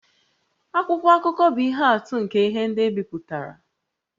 Akwụkwọ akụkọ bụ ihe atụ nke ihe ndị e bipụtara